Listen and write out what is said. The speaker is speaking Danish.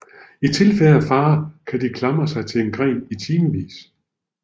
I tilfælde af fare kan de klamre sig til en gren i timevis